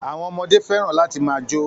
Àwọn ọmọdé fẹ́ràn láti máa jó